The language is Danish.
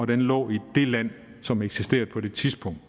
den lå i det land som eksisterede på det tidspunkt